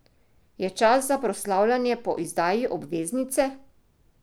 Je čas za proslavljanje po izdaji obveznice?